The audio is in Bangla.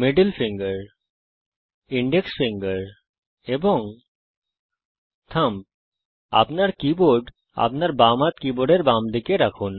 মিডল ফিঙ্গার ইনডেক্স ফিঙ্গার এবং থাম্ব আপনার কীবোর্ড আপনার বাম হাত কীবোর্ডের বামদিকে রাখুন